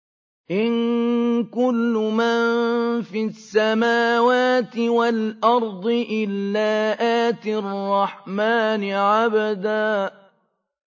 إِن كُلُّ مَن فِي السَّمَاوَاتِ وَالْأَرْضِ إِلَّا آتِي الرَّحْمَٰنِ عَبْدًا